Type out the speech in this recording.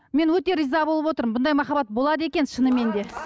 мен өте риза болып отырмын бұндай махаббат болады екен шынымен де